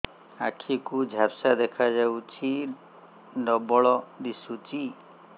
ଆଖି କୁ ଝାପ୍ସା ଦେଖାଯାଉଛି ଡବଳ ଦିଶୁଚି